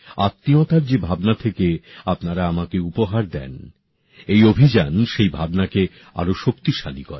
আত্মীয়তার যে ভাবনা থেকে আপনারা আমাকে উপহার দেন এই অভিযান সেই ভাবনাকে আরও শক্তিশালী করে